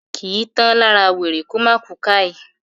kìí tán lára wèrè kómá ku "káì"